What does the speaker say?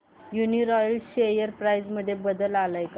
Uniroyal share price मध्ये बदल आलाय का